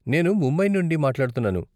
నేను ముంబై నుండి మాట్లాడుతున్నాను.